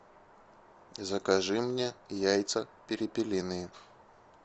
закажи мне яйца перепелиные